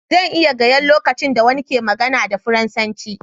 Zan iya gaya lokacin da wani ke magana da Faransanci.